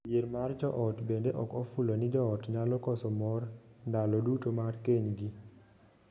Dhier mar joot bende ok ofulo ni joot nyalo koso mor ndalo duto mar kenygi.